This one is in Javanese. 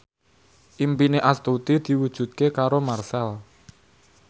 impine Astuti diwujudke karo Marchell